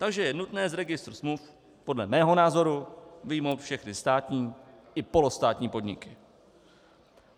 Takže je nutné z registru smluv podle mého názoru vyjmout všechny státní i polostátní podniky.